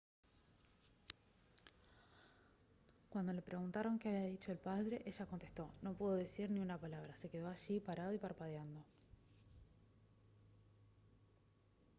cuando le preguntaron qué había dicho el padre ella contestó «no pudo decir ni una palabra se quedó allí parado y parpadeando»